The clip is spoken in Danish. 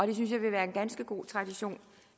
det ville være en ganske god tradition